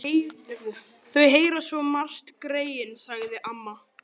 Gengur í áttina að götunni fyrir ofan.